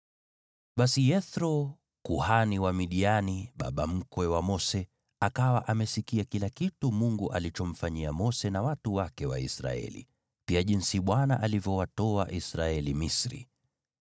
Basi Yethro, kuhani wa Midiani, baba mkwe wa Mose, akawa amesikia kila kitu Mungu alichomfanyia Mose na watu wake wa Israeli, pia jinsi Bwana alivyowatoa Israeli Misri.